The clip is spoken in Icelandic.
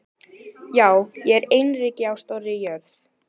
Já, ég er einyrki á stórri jörð.